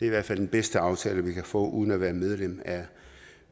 i hvert fald den bedste aftale vi kan få uden at være medlem af